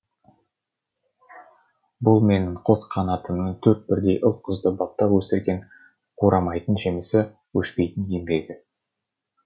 бұл менің қос қанатымның төрт бірдей ұл қызды баптап өсірген қурамайтын жемісі өшпейтін еңбегі